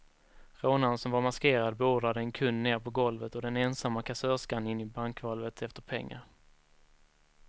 Rånaren som var maskerad beordrade en kund ner på golvet och den ensamma kassörskan in i bankvalvet efter pengar.